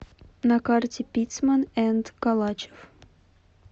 на карте пиццман энд калачев